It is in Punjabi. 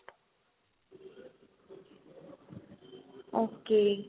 ok